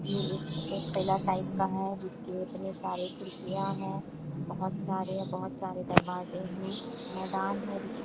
ये एक एक किला टाइप का है जिसके इतने सारे खिड़कियाँ है बहोत सारे बहोत सारे दरवाजे हैं मैदान है जिस --